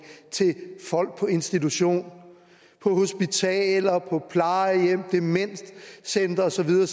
til folk på institution på hospitaler på plejehjem på demenscentre og så videre